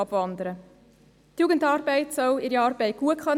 Die Jugendarbeit soll ihre Arbeit gut machen können.